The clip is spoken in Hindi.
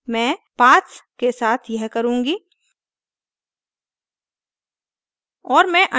मैं paths के साथ यह करुँगी